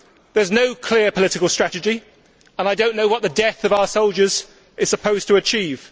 There is no clear political strategy, and I do not know what the death of our soldiers is supposed to achieve.